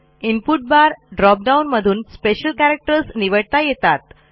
input bar drop डाऊनमधून special characters निवडता येतात